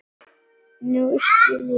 Nú skildi ég hann.